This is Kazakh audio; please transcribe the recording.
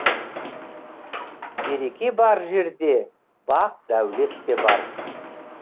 береке бар жерде бақ дәулет те бар